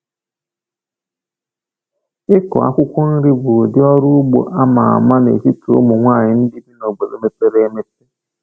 Ịkụ akwụkwọ nri bụ ụdị ọrụ ugbo a ma ama n’etiti ụmụ nwanyị ndị bi n’obodo mepere emepe.